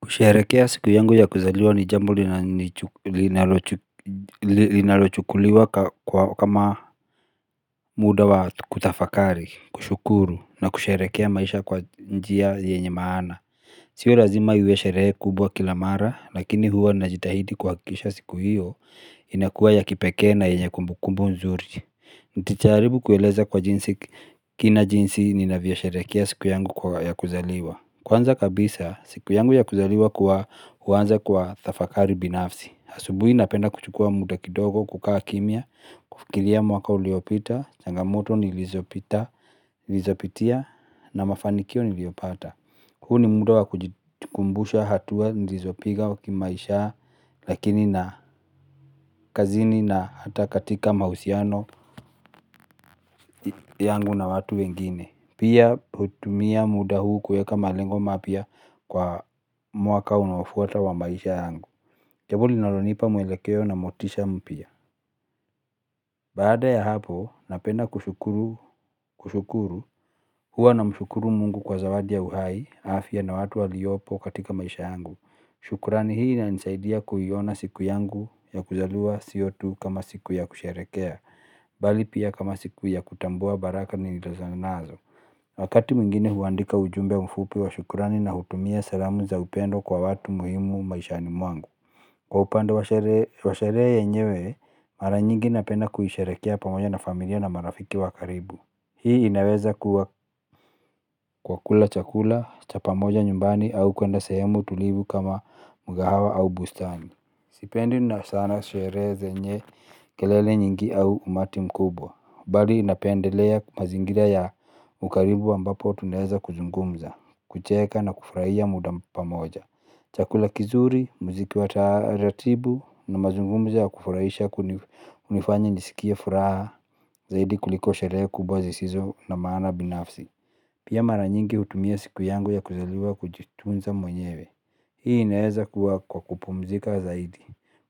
Kusherehekea siku yangu ya kuzaliwa ni jambo linalochukuliwa kama muda wa kutafakari. Kushukuru na kusherehekea maisha kwa njia yenye maana. Sio lazima iwe sherehe kubwa kila mara lakini huwa najitahidi kuhakisha siku hiyo inakuwa ya kipekee na yenye kumbu kumbu nzuri. Nitajaribu kueleza kwa kina jinsi ninavyosherehekea siku yangu ya kuzaliwa. Kwanza kabisa, siku yangu ya kuzaliwa kwa huanza kwa tafakari binafsi. Asubuhi napenda kuchukua muda kidogo, kukaa kimya, kufikiria mwaka uliopita, changamoto nilizopita, nilizopitia na mafanikio niliopata. Huu ni muda wa kujikumbusha hatua nilizopiga wa kimaisha lakini na kazini na hata katika mahusiano yangu na watu wengine. Pia hutumia muda huu kuweka malengo mapya kwa mwaka unaofuata wa maisha yangu. Jambo linalonipa mwelekeo na motisha mpya. Baada ya hapo, napenda kushukuru, huwa namshukuru mungu kwa zawadi ya uhai, afya na watu waliopo katika maisha yangu. Shukurani hii inanisaidia kuiona siku yangu ya kuzaliwa sio tu kama siku ya kusherehekea, bali pia kama siku ya kutambua baraka nilizaliwa nazo. Wakati mwingine huandika ujumbe mfupi wa shukurani na hutumia salamu za upendo kwa watu muhimu maishani mwangu. Kwa upande wa sherehe yenyewe mara nyingi napenda kuisherehekea pamoja na familia na marafiki wa karibu. Hii inaweza kuwa kwa kula chakula cha pamoja nyumbani au kuenda sehemu tulivu kama mkahawa au bustani. Sipendi na sana sherehe zenye kelele nyingi au umati mkubwa. Bali napendelea mazingira ya ukaribu ambapo tunaweza kuzungumza kucheka na kufurahia muda pamoja. Chakula kizuri, muziki wa taratibu na mazungumzo ya kufurahisha kunifanya nisikie furaha zaidi kuliko sherehe kubwa zisizo na maana binafsi. Pia mara nyingi hutumia siku yangu ya kuzaliwa kujitunza mwenyewe. Hii inaweza kuwa kwa kupumzika zaidi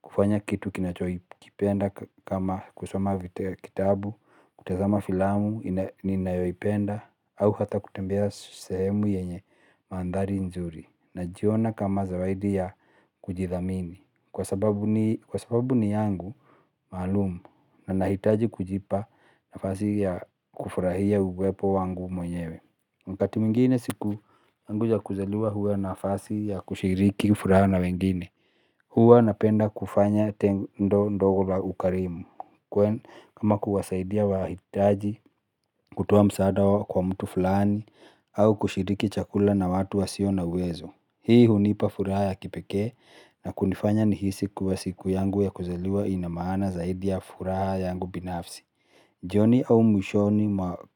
kufanya kitu ninachokipenda kama kusoma kitabu, kutazama filamu, ninayoipenda au hata kutembea sehemu yenye mandhari nzuri. Najiona kama zawaidi ya kujithamini kwa sababu ni yangu maalum na nahitaji kujipa nafasi ya kufurahia uwepo wangu mwenyewe. Wakati mwingine siku yangu ya kuzaliwa huwa nafasi ya kushiriki kufurahia na wengine. Huwa napenda kufanya tendo ndogo la ukarimu kwa kama kuwasaidia wahitaji kutoa msaada kwa mtu fulani au kushiriki chakula na watu wasio na uwezo. Hii hunipa furaha ya kipekee na kunifanya nihisi kuwa siku yangu ya kuzaliwa ina maana zaidi ya furaha yangu binafsi. Jioni au mwishoni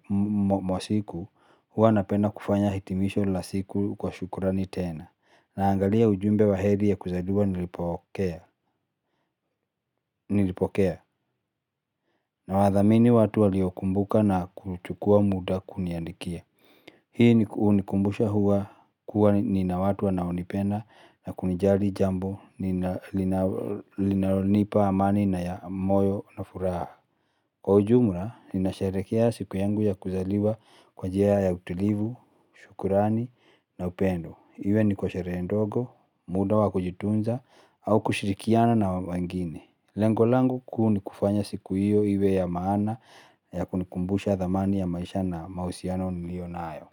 mwa siku huwa napenda kufanya hitimisho la siku kwa shukurani tena. Naangalia ujumbe wa heri ya kuzaliwa nilipokea. Nawathamini watu waliokumbuka na kuchukua muda kuniandikia. Hii unikumbusha huwa kuwa nina watu wanaonipenda na kunijali jambo linalonipa amani na ya moyo na furaha. Kwa ujumla, ninasherehekea siku yangu ya kuzaliwa kwa njia ya utilivu, shukurani na upendo. Iwe ni kwa sherehe ndogo, muda wa kujitunza, au kushirikiana na wengine. Lengo langu kuu ni kufanya siku hiyo iwe ya maana ya kunikumbusha thamani ya maisha na mahusiano niliyonayo.